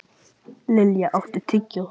Lilja, áttu tyggjó?